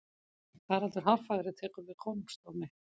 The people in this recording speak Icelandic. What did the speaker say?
haraldur hárfagri tekur við konungdómi